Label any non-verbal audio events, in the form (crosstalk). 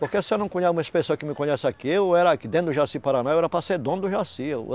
Porque se eu não (unintelligible) umas pessoa que me conhece aqui, eu era aqui dentro do Jaci-Paraná, eu era para ser dono do Jaci, eu.